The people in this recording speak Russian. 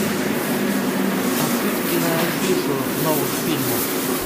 открыть киноафишу новых фильмов